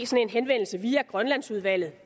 via grønlandsudvalget